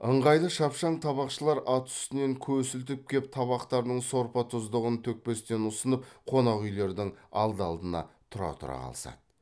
ыңғайлы шапшаң табақшылар ат үстінен көсілтіп кеп табақтарының сорпа тұздығын төкпестен ұсынып қонақ үйлердің алды алдына тұра тұра қалысады